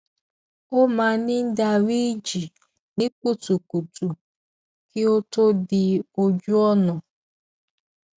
ó máa ń dárí ji ní kutukutu kí ó tó dí ojú ònà